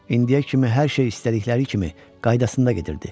İndiyə kimi hər şey istədikləri kimi qaydasında gedirdi.